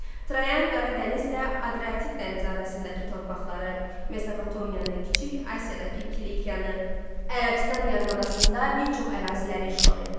Trayan Qara dənizlə Adriatik dənizi arasındakı torpaqları, Mesopotamiyanı, Kiçik Asiyadakı Kilikiyaını, Ərəbistan yarımadasında bir çox əraziləri işğal etdi.